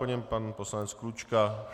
Po něm pan poslanec Klučka.